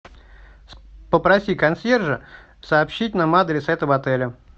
попроси консьержа сообщить нам адрес этого отеля